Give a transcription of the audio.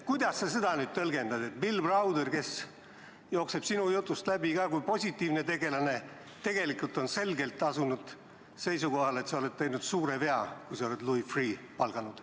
Kuidas sa seda tõlgendad, et Bill Browder, kes jookseb sinu jutust läbi kui positiivne tegelane, on tegelikult selgelt asunud seisukohale, et sa oled teinud suure vea, kui oled palganud Louis Freeh'?